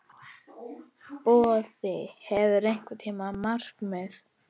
Boði: Hefurðu einhver markmið?